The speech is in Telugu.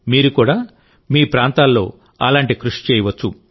మీరు కూడా మీ ప్రాంతాల్లో అలాంటి కృషి చేయవచ్చు